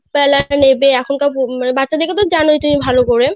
যে half বেলা নেবে বাচ্চাদের তো তুমি জানোই ভালো করে